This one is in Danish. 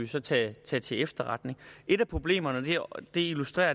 så tage til til efterretning et af problemerne og det illustreres